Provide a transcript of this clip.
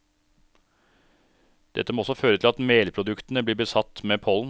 Dette må også føre til at melproduktene blir besatt med pollen.